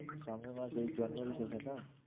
সামনের মাস এই জানুয়ারি থেকে না?